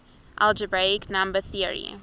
algebraic number theory